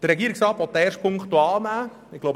Der Regierungsrat möchte den ersten Punkt annehmen.